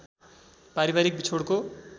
पारिवारिक विछोडको